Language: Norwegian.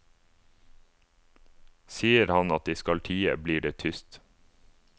Sier han at de skal tie, blir det tyst.